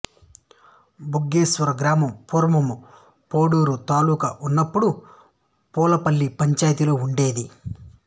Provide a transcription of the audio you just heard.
భగ్గేశ్వరం గ్రామం పూర్వము పొడూరు తాలూక వున్నప్పుడు పూలపల్లి పంచాయితీలో ఉండేది